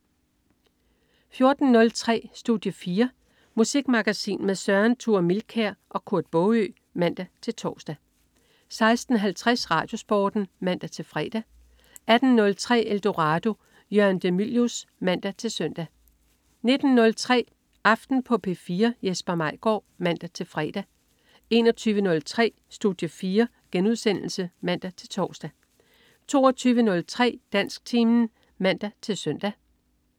14.03 Studie 4. Musikmagasin med Søren Thure Milkær og Kurt Baagø (man-tors) 16.50 RadioSporten (man-fre) 18.03 Eldorado. Jørgen de Mylius (man-søn) 19.03 Aften på P4. Jesper Maigaard (man-fre) 21.03 Studie 4* (man-tors) 22.03 Dansktimen (man-søn)